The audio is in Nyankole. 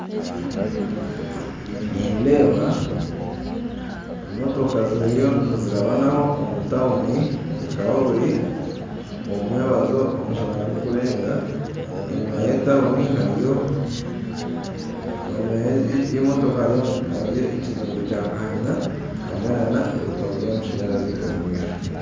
Nindeeba motoka ziriyo nizirabano omu tawuni bukaba buri omu mwebazyoomushana gukurenga enyuma ya emotoka hariyo ekizimbe kya karina hamwe na na ebikondo byamashanyarazi omu maisho